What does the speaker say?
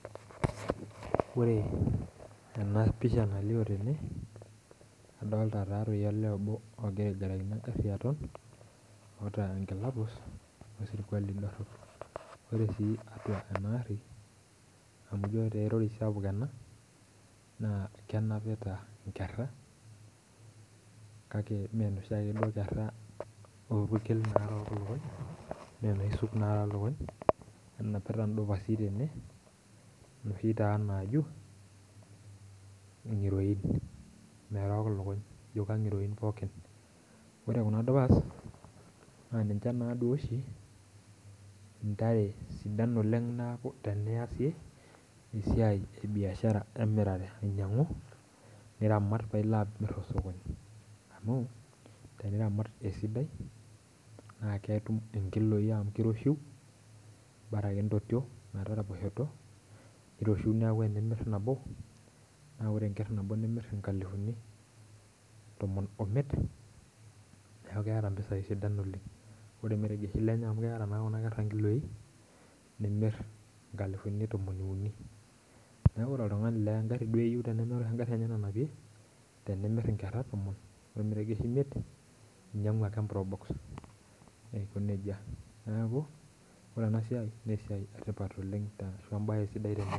Ore ene pisha nalip tene adolita taa doi olee obo ogira aigarakino enkaji aton oota enkila pus, we surkuali narok, erori sapuk ena naa kenapita nkera, kake ime inoshiake kera orpuke narook ilukuny. enapita dupasi tene inoshi taa naajum ngiroin. merook ilkuny ijo kingiroin pookin. ore Kuna dupasi, naa ninche naaduo oshi, ntare sidan oleng, neeku teneyasi esiai ebiashara emirare eianyiang'u. niramat paa ilo amir tosokoni. amu teniramat esidai naa ketum inkiloi amu kiroshiu, naa intotio metaraposhoto. kiroshiu neeku tenimir nabo. naa ore enker nabo nimir nkalifuni tomon imiet. neeku keeta mpisai sidan oleng. ore ilmeregeshi lenye amu keeta naa Kuna kera ilkiloi nimir nkalifuni tomon uni. neekj ore oltungani naa egari duo eyieu tenemeeta egari enye nanapie, tenimir inkera tomon, ilmeregeshi imiet. ninyiangu ake e probox Aiko nejia, neeku ore ena siai naa isidai oleng.